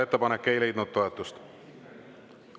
Ettepanek ei leidnud toetust.